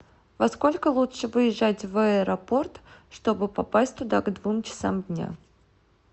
во сколько лучше выезжать в аэропорт чтобы попасть туда к двум часам дня